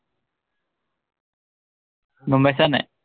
গম পাইছা নাই?